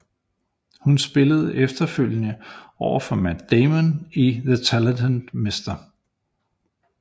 Hun spillede efterfølgende over for Matt Damon i The Talented Mr